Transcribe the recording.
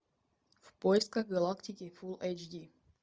в поисках галактики фул эйч ди